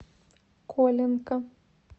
коленко